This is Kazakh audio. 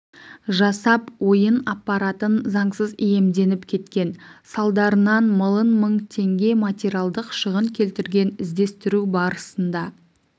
жасап ойын аппаратын заңсыз иемденіп кеткен салдарынан млн мың теңге материалдық шығын келтірген іздестіру барысында